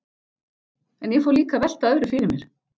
En ég fór líka að velta öðru fyrir mér.